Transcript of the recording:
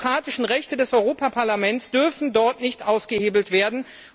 Die demokratischen Rechte des Europäischen Parlaments dürfen dort nicht ausgehebelt werden!